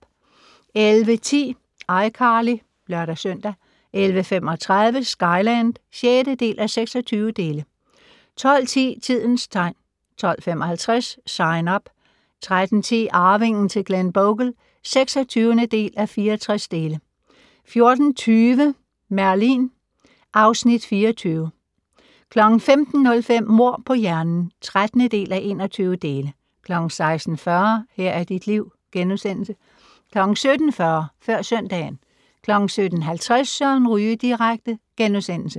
11:10: iCarly (lør-søn) 11:35: Skyland (6:26) 12:10: Tidens tegn 12:55: Sign Up 13:10: Arvingen til Glenbogle (26:64) 14:20: Merlin (Afs. 24) 15:05: Mord på hjernen (13:21) 16:40: Her er dit liv * 17:40: Før søndagen 17:50: Søren Ryge direkte *